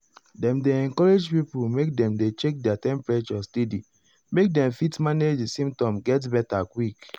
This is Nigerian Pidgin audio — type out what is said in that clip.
dem dey encourage pipo make dem dey check their temperature steady make dem fit manage di symptoms get beta quick.